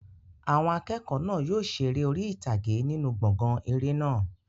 Àwọn akẹ́kọ̀ọ́ náà yóò ṣe eré orí ìtàgé nínú gbọ̀ngàn eré náà.